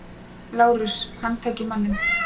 LÁRUS: Handtakið manninn!